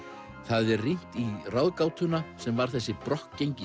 er rýnt í ráðgátuna sem var þessi